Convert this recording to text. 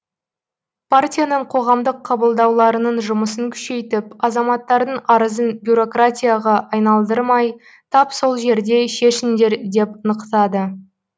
партияның қоғамдық қабылдауларының жұмысын күшейтіп азаматтардың арызын бюрократияға айналдырмай тап сол жерде шешіңдер деп нықтады